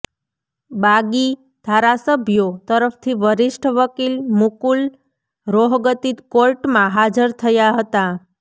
બાગી ધારાસભ્યો તરફથી વરિષ્ઠ વકીલ મુકુલ રોહગતી કોર્ટમાં હાજર થયા હતા